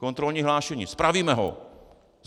Kontrolní hlášení - spravíme ho!